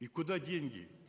и куда деньги